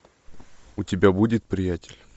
у тебя будет приятель